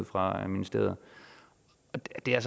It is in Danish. fra ministeriet det er